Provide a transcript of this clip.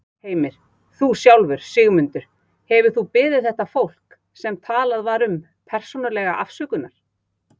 Heimir: Þú sjálfur, Sigmundur, hefurðu þú beðið þetta fólk, sem talað var um, persónulega afsökunar?